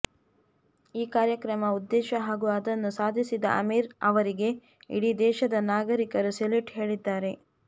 ಈ ಕಾರ್ಯಕ್ರಮ ಉದ್ದೇಶ ಹಾಗೂ ಅದನ್ನು ಸಾಧಿಸಿದ ಅಮೀರ್ ಅವರಿಗೆ ಇಡೀ ದೇಶದ ನಾಗರೀಕರು ಸೆಲ್ಯೂಟ್ ಹೇಳಿದ್ದಾರೆ